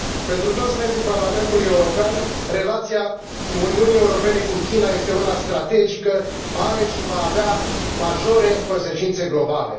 Pentru toți membrii Parlamentului European, relația Uniunii Europene cu China este una strategică, are și va avea majore consecințe globale.